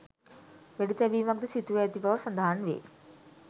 වෙඩිතැබීමක්ද සිදුව ඇති බව සඳහන් වේ